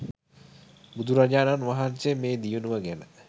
බුදුරජාණන් වහන්සේ මේ දියුණුව ගැන